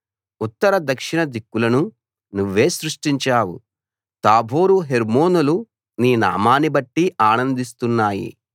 ఉత్తర దక్షిణ దిక్కులను నువ్వే సృష్టించావు తాబోరు హెర్మోనులు నీ నామాన్నిబట్టి ఆనందిస్తున్నాయి